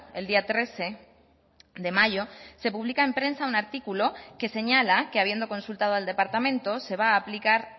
el día trece de mayo se publica en prensa un artículo que señala que habiendo consultado al departamento se va a aplicar